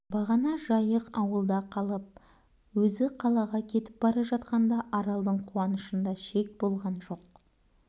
бағана жайық ауылда калып өзі қалаға кетіп бара жатқанда аралдың қуанышында шек болған жоқ